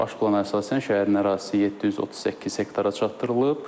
Baş plan əsasən şəhərin ərazisi 738 hektara çatdırılıb.